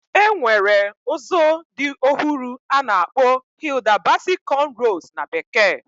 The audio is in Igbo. Enwere ozo di ohuru ana akpo Hilda Baci Conrows na bekee.